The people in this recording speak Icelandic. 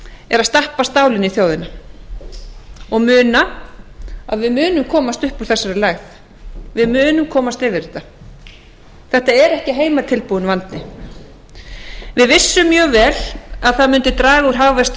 er að stappa stálinu í þjóðina og muna að við munum komast upp úr þessari lægð við munum komast yfir þetta þetta er ekki heimatilbúinn vandi við vissum mjög vel að það mundi draga úr hagvexti um